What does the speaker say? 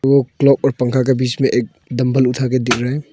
वो क्लॉक और पंखा के बीच में एक डंबल उठा के दिख रहा है।